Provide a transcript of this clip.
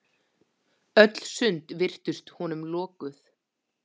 Öll sund virtust honum lokuð.